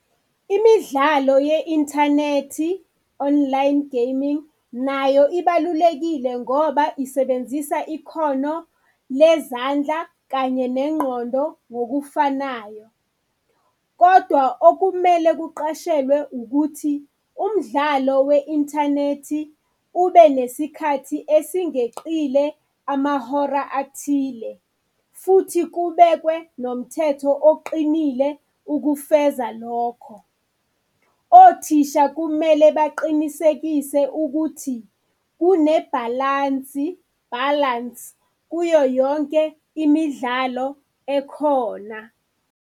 Imidlalo ye-inthanethi, online gaming, nayo ibalulekile ngoba isebenzisa ikhono lezandla kanye nengqondo ngokufanayo. Kodwa okumele kuqashelwe ukuthi umdlalo we-inthanethi ube nesikhathi esingeqile amahora athile futhi kubekwe nomthetho oqinile ukufeza lokho. Othisha kumele baqinisekise ukuthi kunebhalansi, balance, kuyoyonke imidlalo ekhona.